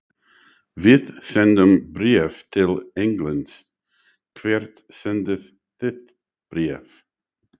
Við sendum bréf til Englands. Hvert sendið þið bréf?